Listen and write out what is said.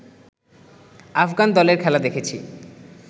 আফগান দলের খেলা দেখেছি